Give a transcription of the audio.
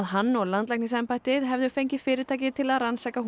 hann og landlæknisembættið hefðu fengið fyrirtæki til að rannsaka